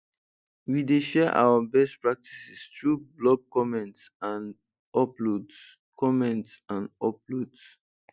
we dey share our best practices through blog comments and uploads comments and uploads